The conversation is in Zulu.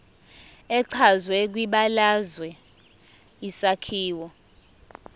echazwe kwibalazwe isakhiwo